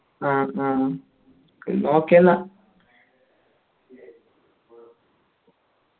ആ ആ എന്ന okay ന്ന